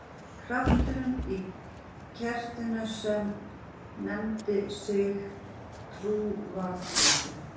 Krafturinn í kertinu sem nefndi sig trú var þrotinn.